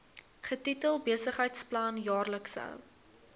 getitel besigheidsplan jaarlikse